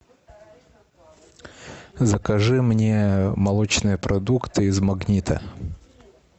закажи мне молочные продукты из магнита